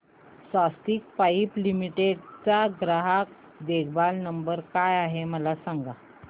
स्वस्तिक pipe limited चा ग्राहक देखभाल नंबर काय आहे मला सांगा